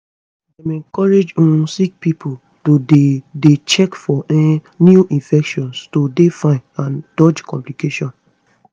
dem encourage um sick pipo to dey dey check for um new infection to dey fine and dodge complications